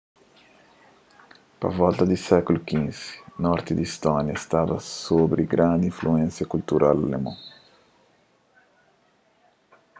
pa volta di sékulu xv norti di istónia staba sobri grandi influénsia kultural alemon